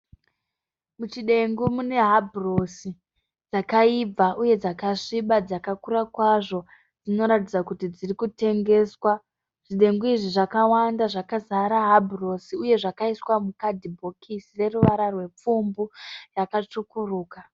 Muchidengu mune habhurosi dzakaibva uye dzakasviba dzakakura kwazvo, dzirikuratidza kuti dziri kutengeswa. Zvidengu izvi zvakawanda zvakazara habhurosi uye zvakaiswa mukadhibhokisi revara rwepfumbu yakatsvukuruka.